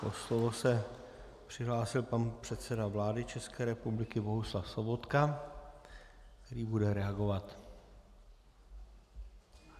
O slovo se přihlásil pan předseda vlády České republiky Bohuslav Sobotka, který bude reagovat.